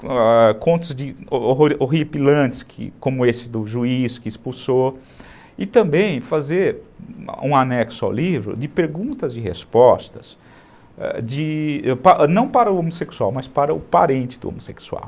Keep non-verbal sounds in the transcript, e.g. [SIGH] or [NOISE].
[UNINTELLIGIBLE] contos de horripilantes, como esse do juiz que expulsou, e também fazer um anexo ao livro de perguntas e respostas, de não para o homossexual, mas para o parente do homossexual.